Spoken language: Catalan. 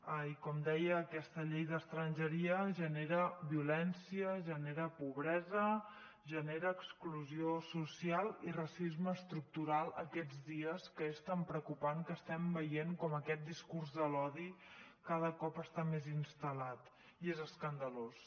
i com deia aquesta llei d’estrangeria genera violència genera pobresa genera exclusió social i racisme estructural aquests dies que és tan preocupant que estem veient com aquest discurs de l’odi cada cop està més instal·lat i és escandalós